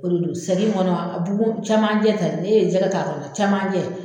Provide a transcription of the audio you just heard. O de do segi in kɔnɔ bugun cɛmanjɛ ta ni e ye jɛgɛ t'a kɔnɔ cɛmanjɛ.